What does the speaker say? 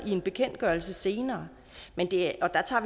i en bekendtgørelse senere